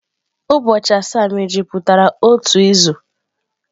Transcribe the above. Ụbọchị asaa mejupụtara otu izu.